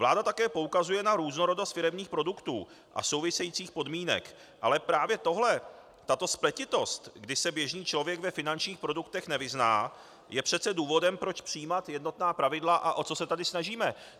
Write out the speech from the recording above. Vláda také poukazuje na různorodost firemních produktů a souvisejících podmínek, ale právě tohle, tato spletitost, kdy se běžný člověk ve finančních produktech nevyzná, je přece důvodem, proč přijímat jednotná pravidla, a o to se tady snažíme.